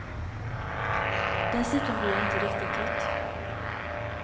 Dessutom blir jag inte riktigt trött.